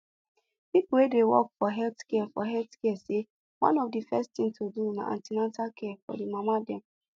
people wey dey work for health care for health care say one of the first things to do na an ten atal care for mama dem